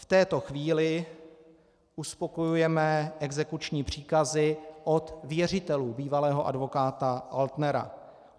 V této chvíli uspokojujeme exekuční příkazy od věřitelů bývalého advokáta Altnera.